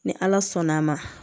Ni ala sɔnn' a ma